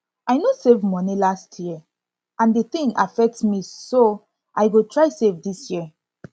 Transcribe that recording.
i no save money last year and the thing affect me so i go try save dis year